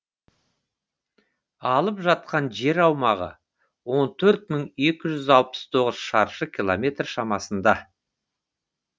алып жатқан жер аумағы он төрт мың екі жүз алпыс тоғыз шаршы километр шамасында